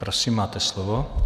Prosím, máte slovo.